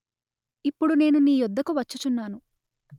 ఇప్పుడు నేను నీ యొద్దకు వచ్చుచున్నాను